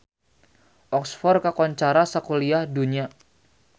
Oxford kakoncara sakuliah dunya